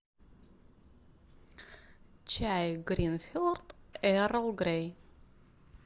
чай гринфилд эрл грей